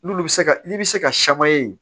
N'olu bɛ se ka ni bɛ se ka